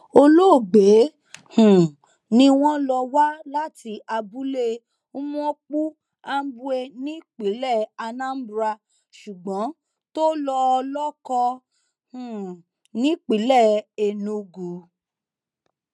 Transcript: olóògbé um ni wọn lọ wá láti abúlé umuokpu ambwe nípínlẹ anambra ṣùgbọn tó lọọ lọkọ um nípínlẹ enugu